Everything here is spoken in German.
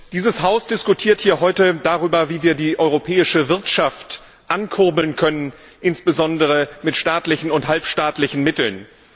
Dieses Haus diskutiert heute darüber, wie wir die europäische Wirtschaft ankurbeln können, insbesondere mit staatlichen und halbstaatlichen Mitteln.